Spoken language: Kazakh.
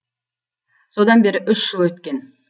содан бері үш жыл өткен